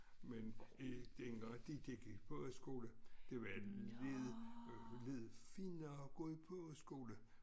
Men i dengang de gik i pogeskole det var lidt lidt finere at gå i pogeskole